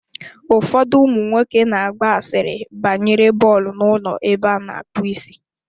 Ụfọdụ ụmụnwoke na-agba asịrị banyere bọọlụ n'ụlọ ebe a na-akpụ isi.